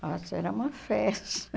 Ah, isso era uma festa.